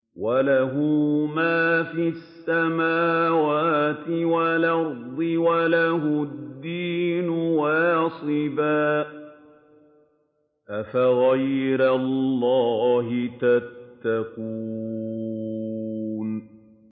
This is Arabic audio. وَلَهُ مَا فِي السَّمَاوَاتِ وَالْأَرْضِ وَلَهُ الدِّينُ وَاصِبًا ۚ أَفَغَيْرَ اللَّهِ تَتَّقُونَ